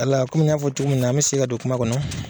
Wala , komi n y'a fɔ cogo min na , an bɛ segin ka don kuma kɔnɔ